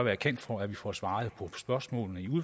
jeg kan for at vi får svaret på spørgsmålene